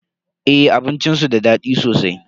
Eh abincin su da daɗi sosai.